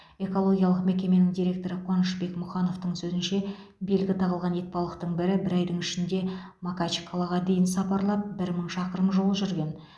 экологиялық мекеменің директоры қуанышбек мұхановтың сөзінше белгі тағылған итбалықтың бірі бір айдың ішінде макачкалаға дейін сапарлап бір мың шақырым жол жүрген